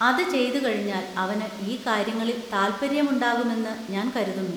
അത് ചെയ്തുകഴിഞ്ഞാൽ അവന് ഈ കാര്യങ്ങളിൽ താൽപ്പര്യമുണ്ടാകുമെന്ന് ഞാൻ കരുതുന്നു.